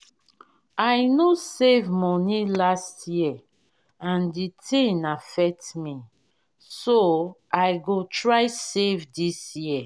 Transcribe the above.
i no save money last year and the thing affect me so i go try save dis year